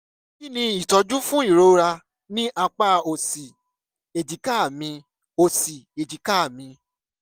kí ni ìtọ́jú fún ìrora ní apá òsì èjìká mi? òsì èjìká mi?